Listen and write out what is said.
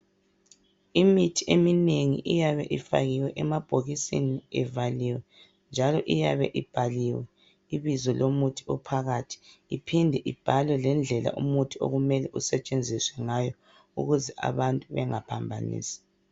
Imithi eminengi iyabe ifakiwe emabhokisini evaliwe njalo iyabe ibhaliwe ibizo lomuthi ophakathi iphinde ibhalwe lendlela umuthi okumele usetshenziswe ngayo ukuze abantu bengaphambanisi.